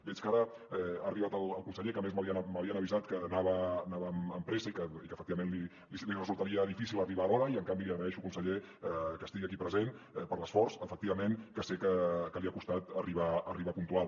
veig que ara ha arribat el conseller que a més m’havien avisat que anava amb pressa i que efecti·vament li resultaria difícil arribar a l’hora i en canvi li agraeixo conseller que es·tigui aquí present per l’esforç efectivament que sé que li ha costat arribar puntual